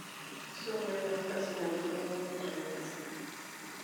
soma ina ardasi naitodolu nutrients